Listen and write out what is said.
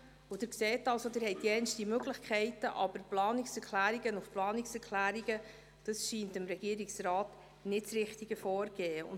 Sie sehen, Sie haben verschiedene Möglichkeiten, aber Planungserklärungen zu Planungserklärungen abzugeben, scheint dem Regierungsrat nicht das richtige Vorgehen zu sein.